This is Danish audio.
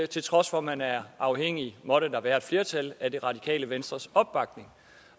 til trods for at man er afhængig måtte der være et flertal af det radikale venstres opbakning